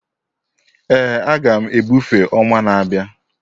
Ee, a ga m ebufe ọnwa na-abịa